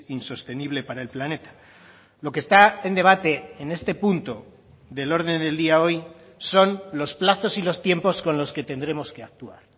insostenible para el planeta lo que está en debate en este punto del orden del día hoy son los plazos y los tiempos con los que tendremos que actuar